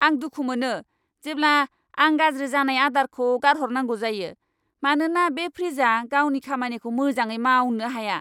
आं दुखु मोनो जेब्ला आं गाज्रि जानाय आदारखौ गारहरनांगौ जायो, मानोना बे फ्रिजआ गावनि खामानिखौ मोजाङै मावनो हाया!